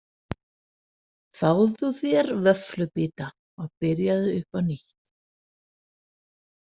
Fáðu þér vöfflubita og byrjaðu upp á nýtt.